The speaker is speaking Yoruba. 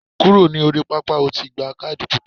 Kúrò ní orí pápá, o ti gba kádì pupa.